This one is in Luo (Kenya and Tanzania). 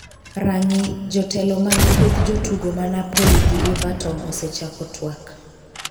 (rang'i) jotelo mag kweth jotugo ma Napoli gi Everton osechako twak